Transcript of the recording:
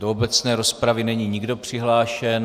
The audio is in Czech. Do obecné rozpravy není nikdo přihlášen.